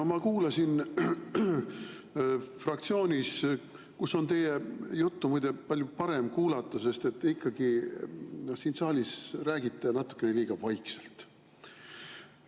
No ma kuulasin teid fraktsioonis, kus on teie juttu, muide, palju parem kuulata, sest siin saalis räägite ikkagi natuke liiga vaikselt.